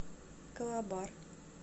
калабар